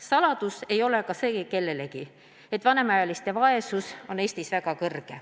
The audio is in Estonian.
Saladus ei ole kellelegi ka see, et vanemaealiste vaesus on Eestis väga suur.